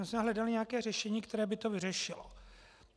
My jsme hledali nějaké řešení, které by to vyřešilo.